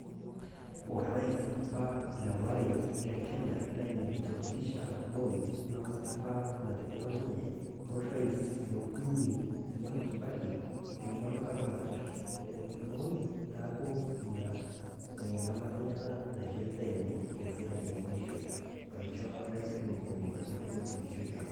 Orais apaa le aware le Kenya Daniel Torotich Arap Moi ng'amaata apa natepero ninye. O rais le ukuni Mwai Kibaki enia ng'amaat apa napeer Moi naaku enia ng'amata enye ena naishore ninye leshere enye e muisho aisho rais le uni otii nkishu e kenya.